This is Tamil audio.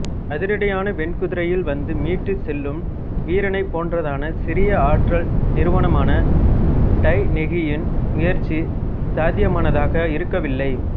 அதிரடியான வெண்குதிரையில் வந்து மீட்டுச் செல்லும் வீரனைப் போன்றதான சிறிய ஆற்றல் நிறுவனமான டைநெகியின் முயற்சி சாத்தியமானதாக இருக்கவில்லை